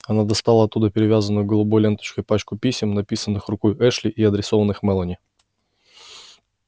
она достала оттуда перевязанную голубой ленточкой пачку писем написанных рукой эшли и адресованных мелани